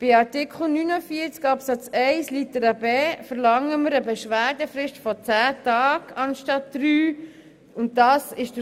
Bei Artikel 49 Absatz 1 Buchstabe b verlangen wir bei Disziplinarmassnahmen eine Beschwerdefrist von zehn anstatt drei Tagen.